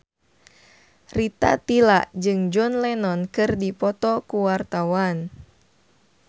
Rita Tila jeung John Lennon keur dipoto ku wartawan